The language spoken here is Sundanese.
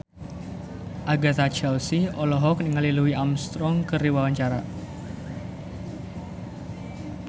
Agatha Chelsea olohok ningali Louis Armstrong keur diwawancara